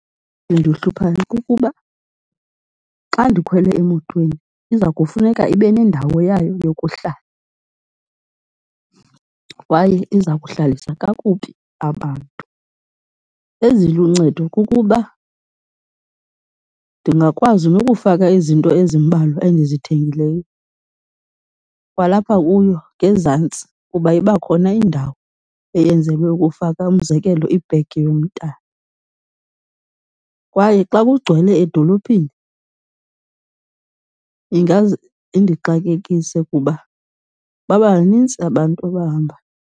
Endihluphayo kukuba xa ndikhwele emotweni iza kufuneka ibe nendawo yayo yokuhlala kwaye iza kuhlalisa kakubi abantu. Eziluncedo kukuba ndingakwazi nokufaka izinto ezimbalwa endizithengileyo kwalapha kuyo ngezantsi, kuba iba khona indawo eyenzelwe ukufaka, umzekelo ibhegi yomntana. Kwaye xa kugcwele edolophini ingaze indixakekise kuba baba banintsi abantu abahambayo.